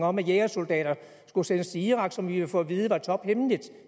om at jægersoldater skulle sendes til irak som vi ville få at vide var tophemmeligt